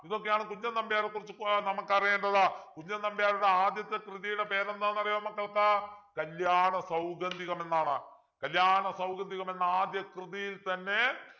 ഇതൊക്കെയാണ് കുഞ്ചൻ നമ്പ്യാരെകുറിച്ചിട്ട് നമുക്കറിയേണ്ടത് കുഞ്ചൻ നമ്പ്യാരുടെ ആദ്യത്തെ കൃതിയുടെ പേരെന്താണെന്നറിയാമോ മക്കൾക്ക് കല്യാണസൗഗന്ധികം എന്നാണ് കല്യാണസൗഗന്ധികം എന്ന ആദ്യ കൃതിയിൽ തന്നെ